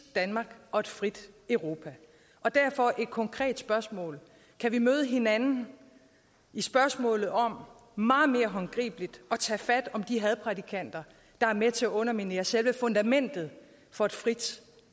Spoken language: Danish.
danmark og et frit europa derfor et konkret spørgsmål kan vi møde hinanden i spørgsmålet om meget mere håndgribeligt at tage fat om de hadprædikanter der er med til at underminere selve fundamentet for et frit